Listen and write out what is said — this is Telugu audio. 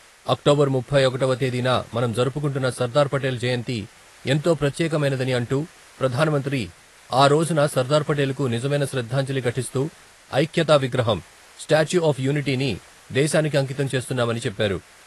అక్టోబర్ ముప్పై ఒకటవ తేదీన మనం జరుపుకుంటున్న సర్దార్పటేల్ జయంతి ఎంతో ప్రత్యేకమైనదని అంటూ ప్రధానమంత్రి ఆ రోజున సర్దార్పటేలు నిజమైన శ్రద్ధాంజలి ఘటిస్తూ ఐక్యతా విగ్రహం, స్టాట్యూ ఆఫ్ యూనిటీని దేశానికి అంకితం చేస్తున్నామని చెప్పారు.